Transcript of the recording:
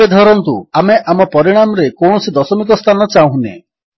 ଏବେ ଧରନ୍ତୁ ଆମେ ଆମ ପରିଣାମରେ କୌଣସି ଦଶମିକ ସ୍ଥାନ ଚାହୁଁନେ